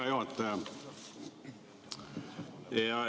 Hea juhataja!